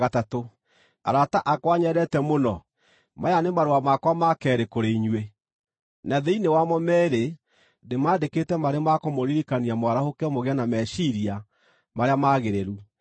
Arata akwa nyendete mũno, maya nĩ marũa makwa ma keerĩ kũrĩ inyuĩ. Na thĩinĩ wamo meerĩ ndĩmaandĩkĩte marĩ ma kũmũririkania mwarahũke mũgĩe na meciiria marĩa magĩrĩru.